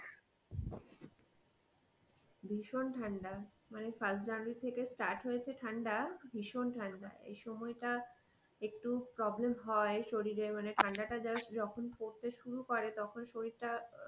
ভীষণ ঠান্ডা মানে first জানুয়ারী থেকে start হয়েছে ঠান্ডা, ভীষণ ঠান্ডা এই সময় টা একটু problem হয় শরীর এর মানে ঠান্ডা টা যারা যখন পড়তে শুরু করে তখন শরীর টা.